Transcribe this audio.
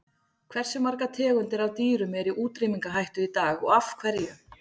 Hversu margar tegundir af dýrum eru í útrýmingarhættu í dag og af hverju?